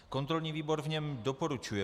Kontrolní výbor v něm doporučuje